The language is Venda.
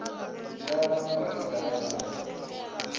yavho na vhathu vhane vha